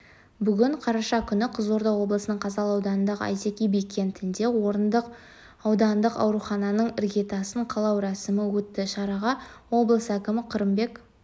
бүгін қараша күні қызылорда облысы қазалы ауданындағы әйтеке би кентінде орындық аудандық аурухананың іргетасын қалау рәсімі өтті шараға облыс әкімі қырымбек